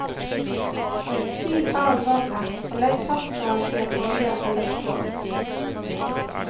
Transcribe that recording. Sil av vannet og legg pastaen i en bolle eller skål.